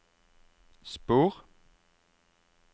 spor